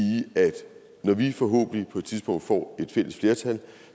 at når vi forhåbentlig på et tidspunkt får et fælles flertal